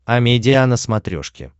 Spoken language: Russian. амедиа на смотрешке